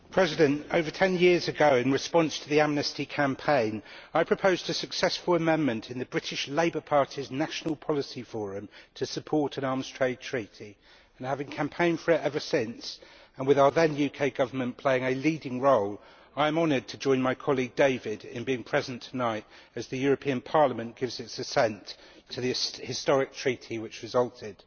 Mr President, over 10 years ago in response to the Amnesty International campaign, I proposed a successful amendment in the British Labour Party's National Policy Forum to support an arms trade treaty, and having campaigned for it ever since, and with our then UK Government playing a leading role, I am honoured to join my colleague David Martin in being present tonight as the European Parliament gives it assent to the historic Treaty which resulted.